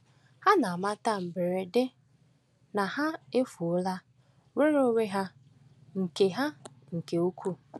Ha na-amata mberede na ha efuola nnwere onwe ha nke ha nke ukwuu.